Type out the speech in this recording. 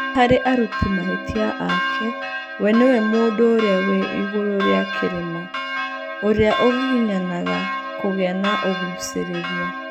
Harĩ aruti mahĩtia ake, we nĩwe mũndũũrĩa wĩ ĩgũrũrĩa Kĩrĩma - ũrĩa ũgiginyanaga kũgĩa na ũgucirĩria.